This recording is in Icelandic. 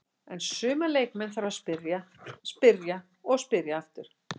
En suma leikmenn þarf að spyrja, spyrja og spyrja aftur.